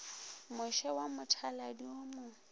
moše wa mothaladi wo mo